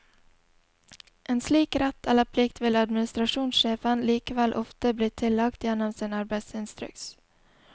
En slik rett eller plikt vil administrasjonssjefen likevel ofte bli tillagt gjennom sin arbeidsinstruks.